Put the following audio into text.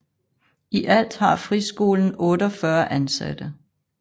I alt har friskolen 48 ansatte